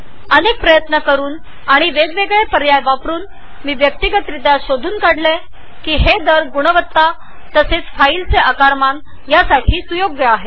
अनेक प्रयत्नांनी विविध पर्याय एकत्र करुन मी वैयक्तीकरित्या हे शोधून काढले आहे की या रेट्स फाइलचे आकार आणि गुणवत्तेसाठी योग्य आहेत